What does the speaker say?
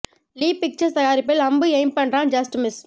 லீ Pictures தயாரிப்பில் அம்பு aim பண்றான் ஜஸ்ட் மிஸ்